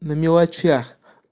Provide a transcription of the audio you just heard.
на мелочах